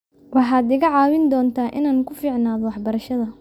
waxaad iga caawin doontaa inaan ku fiicnaado waxbarashada